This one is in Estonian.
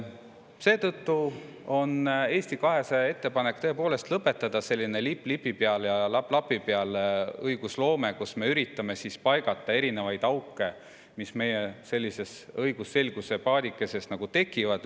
Seetõttu on Eesti 200 ettepanek tõepoolest lõpetada selline lipp lipi peal ja lapp lapi peal õigusloome, kus me üritame paigata erinevaid auke, mis meie õigusselguse paadikeses tekivad.